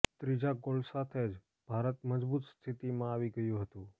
ત્રીજા ગોલ સાથે જ ભારત મજબૂત સ્થિતિમાં આવી ગયું હતું